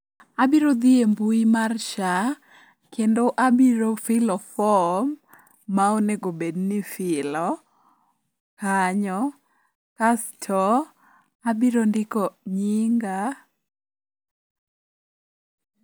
Abiro dhi e mbui mar SHA kendo abiro filo fom ma onego bedni ifilo kanyo kasto abiro ndiko nyinga.